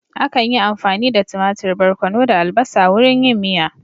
Akan yi amfani da tumatur, barkono da albasa wurin yin miya